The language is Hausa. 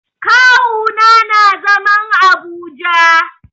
Kawu na nà zaman Abuja.